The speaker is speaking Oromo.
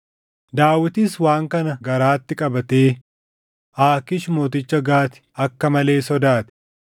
Daawitis waan kana garaatti qabatee Aakiish mooticha Gaati akka malee sodaate.